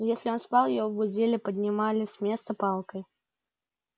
если он спал его будили поднимали с места палкой